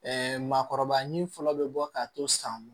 maakɔrɔba ɲinini fɔlɔ bɛ bɔ k'a to san bolo